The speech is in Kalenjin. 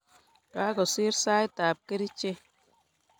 Kakosir saitab kerichek.